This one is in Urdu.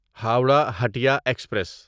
ہورہ ہٹیا ایکسپریس